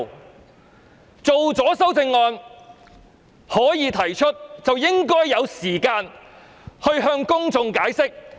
我們草擬的修正案獲准提出，便應該給予時間讓我向公眾解釋。